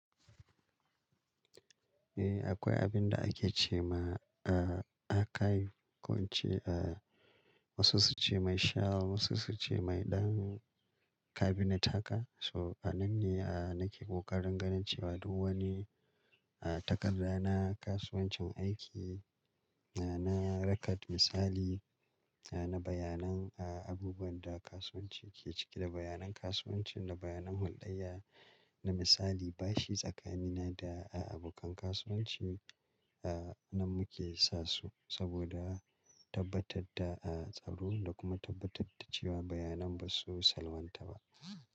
Eh, akwai abin da ake ce ma, ah, aka yi, ko wance, ah, wasu su ce mai shall, wasu su ce mai ɗan kabinet haka. So, a nan ne, ah, nake kokarin ganin cewa duk wani, ah, takarda na kasuwancin aiki, na, na rakat misali, na bayanan, ah, abubuwan da kasuwanci ke ciki da bayanan kasuwanci da bayanan huldayya na misali bashi tsakanina da abokan kasuwanci, ah, nan muke sa su saboda tabbatar da, ah, tsaro da kuma tabbatar da cewa bayanan ba su salwanta ba.